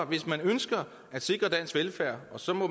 hvis man ønsker at sikre dansk velfærd og så må